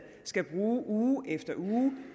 skal bruge uge efter uge